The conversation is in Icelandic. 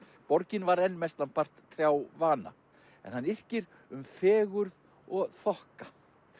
borgin var enn mestanpart trjávana en hann yrkir um fegurð og þokka